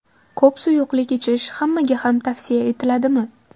Ko‘p suyuqlik ichish hammaga ham tavsiya etiladimi?